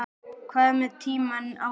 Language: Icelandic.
Hvað með tímann áður?